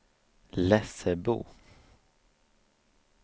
Lessebo